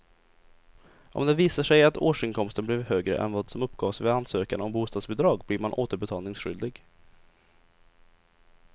Om det visar sig att årsinkomsten blev högre än vad som uppgavs vid ansökan om bostadsbidrag blir man återbetalningsskyldig.